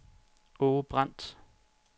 Aage Brandt